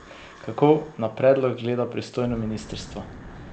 Kako na predlog gleda pristojno ministrstvo?